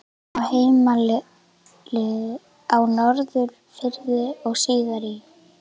Á heimilið á Norðfirði og síðar í